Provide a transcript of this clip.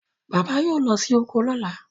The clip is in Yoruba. bàbá yíò ló sì oko lola.